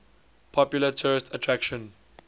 popular tourist attraction